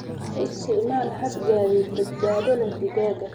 U isticmaal hab gaadiid badbaado leh digaaga.